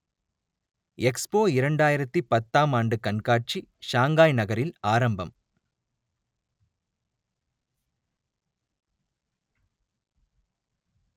expo இரண்டாயிரத்தி பத்தாம் ஆண்டு கண்காட்சி ஷாங்காய் நகரில் ஆரம்பம்